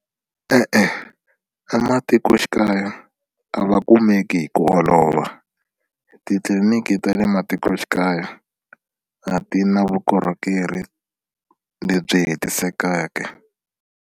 E-e ematikoxikaya a va kumeki hi ku olova titliliniki ta le matikoxikaya a ti na vukorhokeri lebyi hetisekeke.